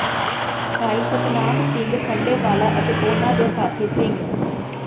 ਭਾਈ ਸਤਨਾਮ ਸਿੰਘ ਖੰਡੇਵਾਲਾ ਅਤੇ ਉਨ੍ਹਾਂ ਦੇ ਸਾਥੀ ਸਿੰਘ